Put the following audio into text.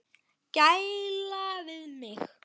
Gæla við mig.